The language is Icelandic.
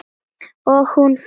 Og hún fiskur í neti.